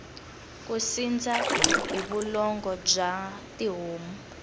ku sindza hi vulongo bya tihomu